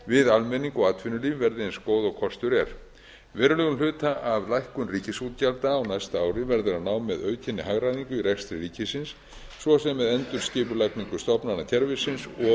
við almenning og atvinnulíf verði eins góð og kostur er verulegum hluta af lækkun ríkisútgjalda á næsta ári verður að ná með aukinni hagræðingu í rekstri ríkisins svo sem með endurskipulagningu stofnanakerfisins